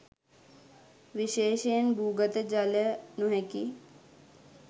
විශේෂයෙන් භූගත ජලය නොහැකි